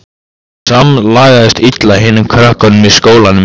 Hún samlagaðist illa hinum krökkunum í skólanum.